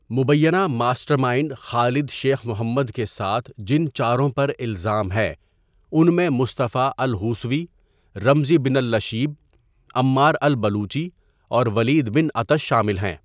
مبینہ master mind خالد شیخ محمد کے ساتھ جن چاروں پر الزام ہے، ان میں مصطفیٰ الحوصوی، رمزی بنالشیب، عمار البلوچی اور ولید بن عطش شامل ہیں۔